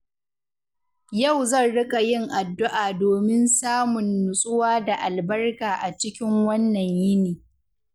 Yau zan riƙa yin addu’a domin samun nutsuwa da albarka a cikin wannan yini.